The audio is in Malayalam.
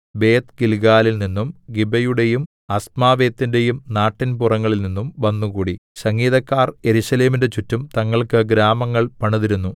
ബേത്ത്ഗിൽഗാലിൽനിന്നും ഗിബയുടെയും അസ്മാവെത്തിന്റെയും നാട്ടിൻപുറങ്ങളിൽനിന്നും വന്നുകൂടി സംഗീതക്കാർ യെരൂശലേമിന്റെ ചുറ്റും തങ്ങൾക്ക് ഗ്രാമങ്ങൾ പണിതിരുന്നു